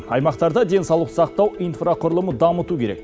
аймақтарда денсаулық сақтау инфрақұрылымын дамыту керек